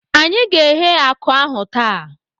Anyị ga-eghe akụ ahụ taa.